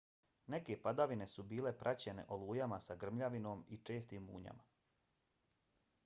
neke padavine su bile praćene olujama sa grmljavinom i čestim munjama